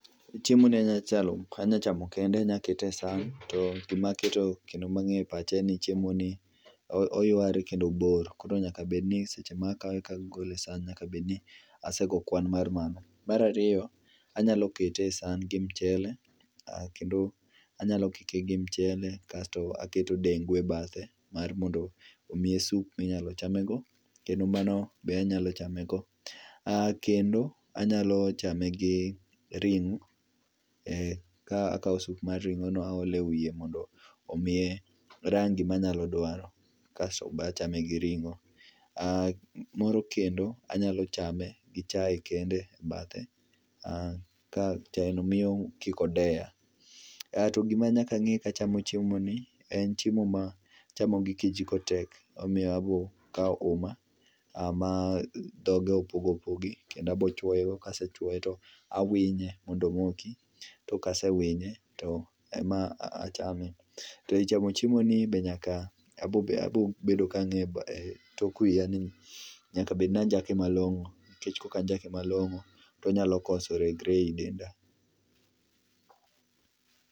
Chiemo ni anyachamo kende anya kete esan to gimaketo kendo maangeyo e pacha en n chiemo ni oyware kendo obor koro nyaka bedni seche maa kawe ka agole e san nyaka bed ni asego kwan mar mano. Maraariyo anyalo kete e san gi mchele kendo anyalo kike gi mchele kasto aketo dengu e bathe mondo omyie soup minyal chame go kendo mano be anyalo chame go kendo anyalo chame gi ring'o ka akao soup mar ring'o to aole wiye nondo omiye rangi manyalo dwaro kasto bachame gi ringo moro kendo banyalo chame gi chai kende e bathe ka chai no miyo kik odeya mondo kik odeya kaeto gimachielo manyaka ange kachamo chiemo ni en chiemo ma chamo gi kijiko tek omiyo abo kao uma ma dhoge opogopogi kendo abo chwoe go kasechuoe tawinye mondo omoki to kasewinye tema achame toeichamo chiemo ni tabobedo ka ng'e etok wiya ni nyak bed ni anjake malongo nikech kokanjake malongo tonyalo koso regre ei denda